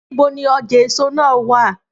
Níbo ni ọjà èso náà wá à?